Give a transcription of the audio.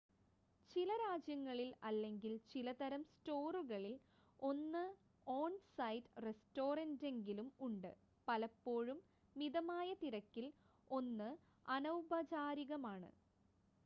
ചില രാജ്യങ്ങളിൽ അല്ലെങ്കിൽ ചില തരം സ്റ്റോറുകളിൽ 1 ഓൺ-സൈറ്റ് റെസ്റ്റോറൻ്റെങ്കിലും ഉണ്ട് പലപ്പോഴും മിതമായ നിരക്കിൽ 1 അനൗപചാരികമാണ്